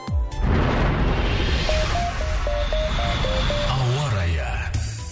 ауа райы